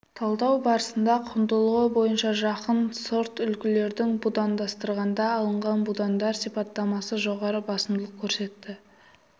талдау барысында құндылығы бойынша жақын сортүлгілерді будандастырғанда алынған будандар сипаттамасы жоғары басымдылық көрсетті